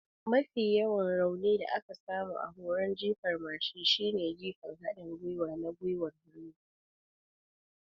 Mafi yawan raunin da aka samu a horon jifar mashin shine jifan haɗin gwiwa na gwiwar hannu.